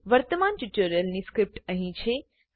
વર્તમાન ટ્યુટોરીયલની સ્ક્રીપ્ટ અહીં છે